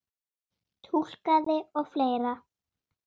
Túlkaði og fleira.